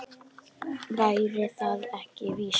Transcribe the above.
Væri það ekki víst?